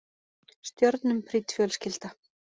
Stjörnum prýdd fjölskylda